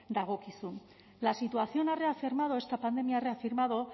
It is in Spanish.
dagokizu la situación ha reafirmado esta pandemia ha reafirmado